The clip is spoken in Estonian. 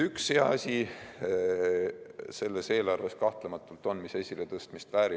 Üks hea asi selles eelarves kahtlematult on, mis esiletõstmist väärib.